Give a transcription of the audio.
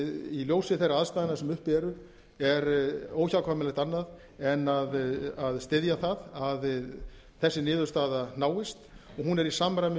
í ljósi þeirra aðstæðna sem uppi eru er óhjákvæmilegt annað en að styðja það að þessi niðurstaða náist og hún er í samræmi